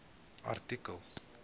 artikel